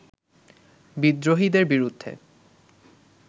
বিদ্রোহীদের বিরুদ্ধে